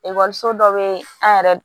so dɔ be an yɛrɛ